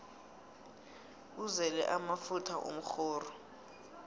uzele amafutha umrhoru